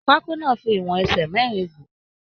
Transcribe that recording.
Pákó náà fí ìwọ̀n ẹsẹ mẹrin gún.